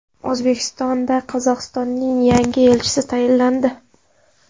O‘zbekistonda Qozog‘istonning yangi elchisi tayinlandi.